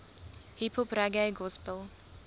hiphop reggae gospel